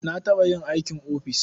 Na taɓa yin aikin ofis.